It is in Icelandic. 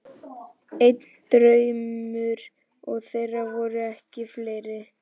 Einn draumur, og þeir voru ekki fleiri.